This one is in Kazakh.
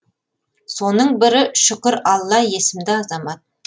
соның бірі шүкіралла есімді азамат